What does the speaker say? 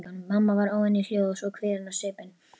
Mamma var óvenju hljóð og svo kvíðin á svipinn að